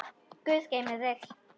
Guð geymi þig.